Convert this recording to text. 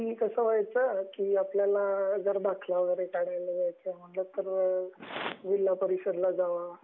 आणि कसं व्हायचं, की आपल्याला जर आपल्याला दाखला वैगेरे काढायचा आहे तर जिल्हा परिषदमध्ये जा,